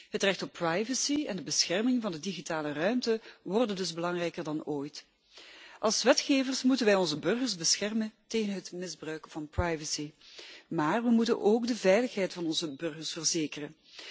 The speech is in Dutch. Het recht op privacy en de bescherming van de digitale ruimte worden dus belangrijker dan ooit. Als wetgevers moeten wij onze burgers beschermen tegen het misbruik van privacy, maar we moeten ook de veiligheid van onze burgers verzekeren.